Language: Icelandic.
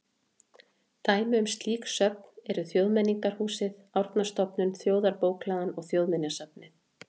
Dæmi um slík söfn eru Þjóðmenningarhúsið, Árnastofnun, Þjóðarbókhlaðan og Þjóðminjasafnið.